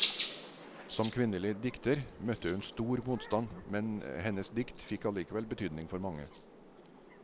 Som kvinnelig dikter møtte hun stor motstand, men hennes dikt fikk allikevel betydning for mange.